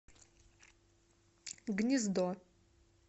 гнездо